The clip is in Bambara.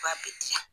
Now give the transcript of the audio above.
Ba bɛ diya